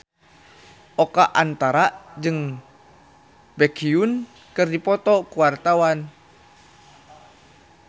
Oka Antara jeung Baekhyun keur dipoto ku wartawan